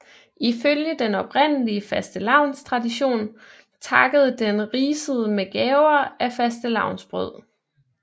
Ifølge den oprindelige fastelavnstradition takkede den risede med gaver af fastelavnsbrød